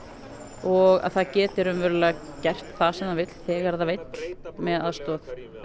og að það geti raunverulega gert það sem það vill þegar það vill með aðstoð